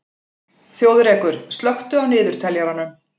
Þjóðrekur, slökktu á niðurteljaranum.